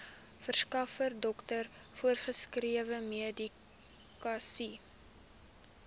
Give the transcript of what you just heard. verskaffer dokter voorgeskrewemedikasie